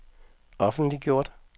offentliggjort